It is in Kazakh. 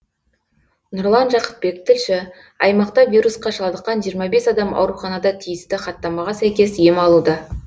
нұрлан жақыпбек тілші аймақта вирусқа шалдыққан жиырма бес адам ауруханада тиісті хаттамаға сәйкес ем алуда